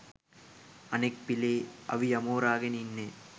අනෙක් පිලේ අවි අමෝරාගෙන ඉන්නේ